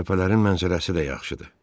Təpələrin mənzərəsi də yaxşıdır.